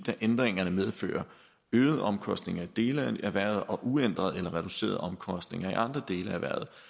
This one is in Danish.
da ændringerne medfører øgede omkostninger i dele af erhvervet og uændrede eller reducerede omkostninger i andre dele af